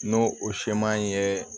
N'o o seman ye